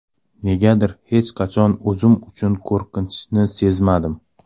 Negadir hech qachon o‘zim uchun qo‘rqinchni sezmadim.